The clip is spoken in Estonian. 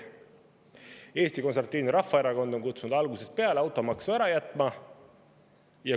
Eesti Konservatiivne Rahvaerakond on kutsunud algusest peale üles automaksu ära jätma.